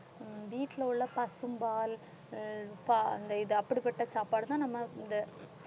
உம் வீட்டில உள்ள பசும்பால் அஹ் அந்த இது அப்படிப்பட்ட சாப்பாடுதான் நம்ம இந்த